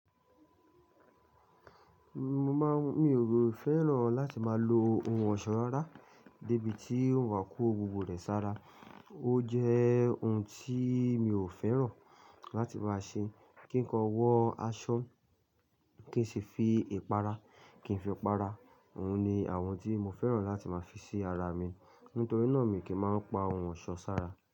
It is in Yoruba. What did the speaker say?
Mo màá n, ò fẹ́ràn láti máa lo ohun ọ̀ṣọ́ rárá débi tí ó wa kó gbogbo rẹ̀ sára. Ó jẹ́ ohun tíi mii ò fẹ́ràn láti máa ṣe. Kí nkan wọ aṣọ, kí n ṣi fi ìpara, kí n fi para. Ohun ni àwọn tí mo fẹ́ràn láti máa fi sí ara mi. Nítorí náà mi kì í máa ń pa ohun ọ̀ṣọ́ sára.